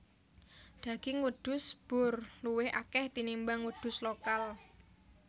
Daging wedhus boer luwih akeh tinimbang wedhus lokal